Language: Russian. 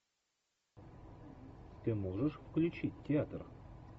ты можешь включить театр